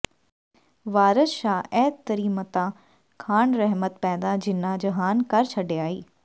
ਵਾਰਸ ਸ਼ਾਹ ਇਹ ਤਰੀਮਤਾਂ ਖਾਣ ਰਹਿਮਤ ਪੈਦਾ ਜਿਨ੍ਹਾਂ ਜਹਾਨ ਕਰ ਛੱਡਿਆ ਈ